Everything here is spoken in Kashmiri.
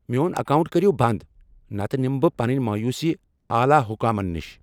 میٚون اکاونٹ کٔرِو بنٛد، نتہٕ نِمہٕ بہٕ پنٕنۍ مایوسی اعلی حکامس نش۔